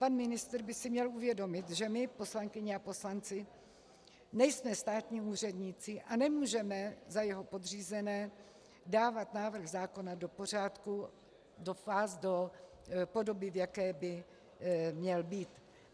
Pan ministr by si měl uvědomit, že my, poslankyně a poslanci, nejsme státní úředníci a nemůžeme za jeho podřízené dávat návrh zákona do pořádku, do podoby, v jaké by měl být.